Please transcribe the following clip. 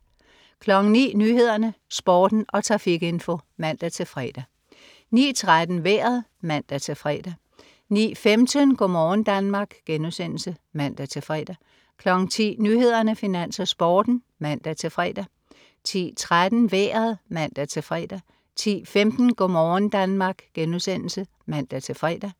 09.00 Nyhederne, Sporten og trafikinfo (man-fre) 09.13 Vejret (man-fre) 09.15 Go' morgen Danmark* (man-fre) 10.00 Nyhederne, Finans, Sporten (man-fre) 10.13 Vejret (man-fre) 10.15 Go' morgen Danmark* (man-fre)